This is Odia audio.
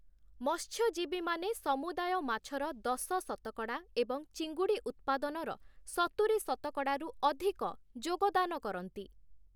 ମତ୍ସ୍ୟଜୀବୀମାନେ ସମୁଦାୟ ମାଛର ଦଶ ଶତକଡ଼ା ଏବଂ ଚିଙ୍ଗୁଡ଼ି ଉତ୍ପାଦନର ସତୁରୀ ଶତକଡ଼ାରୁ ଅଧିକ ଯୋଗଦାନ କରନ୍ତି ।